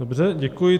Dobře, děkuji.